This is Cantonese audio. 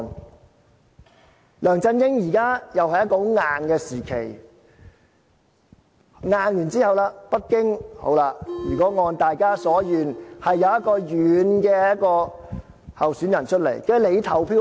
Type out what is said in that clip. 現在梁振英時代又是一個很強硬的時期，強硬之後，如果北京按大家所願，推一個軟善的候選人出來，你就投票給他。